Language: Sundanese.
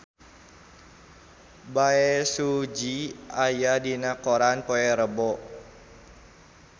Bae Su Ji aya dina koran poe Rebo